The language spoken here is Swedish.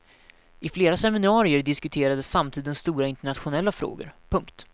I flera seminarier diskuterades samtidens stora internationella frågor. punkt